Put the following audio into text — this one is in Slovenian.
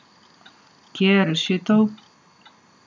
Kje je rešitev?